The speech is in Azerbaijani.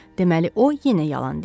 Deməli, o yenə yalan deyib.